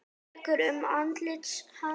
Tekur um andlit hans.